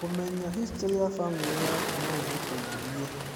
Kũmenya historĩ ya bamĩrĩ yaku no gũgũteithie.